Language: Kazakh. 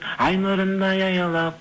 ай нұрындай аялап